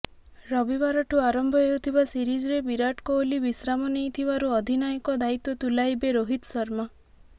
ରବିବାରଠୁ ଆରମ୍ଭ ହେଉଥିବା ସିରିଜରେ ବିରାଟ କୋହଲି ବିଶ୍ରାମ ନେଇଥିବାରୁ ଅଧିନାୟକ ଦାୟିତ୍ୱ ତୁଲାଇବେ ରୋହିତ ଶର୍ମା